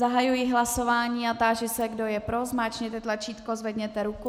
Zahajuji hlasování a táži se, kdo je pro, zmáčkněte tlačítko, zvedněte ruku.